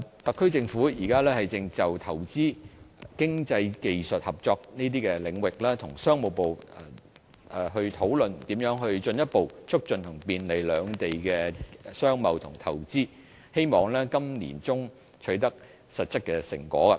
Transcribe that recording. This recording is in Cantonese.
特區政府現正就投資、經濟技術合作等領域，與商務部討論如何進一步促進和便利兩地的商貿和投資，希望今年年中會取得實質成果。